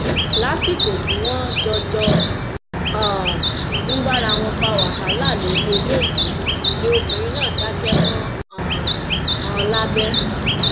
lásìkò tí wọn jọ jọ um ń bára wọn fa wàhálà lórí eléyìí ni obìnrin náà dákẹ mọ um ọn lábẹ